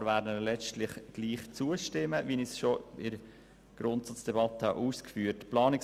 Wir werden ihnen letztlich trotzdem zustimmen, wie ich bereits in der Grundsatzdebatte ausgeführt habe.